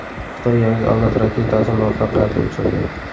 Xitoy yangi avlod raketasini muvaffaqiyatli uchirdi .